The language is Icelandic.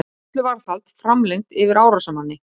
Gæsluvarðhald framlengt yfir árásarmanni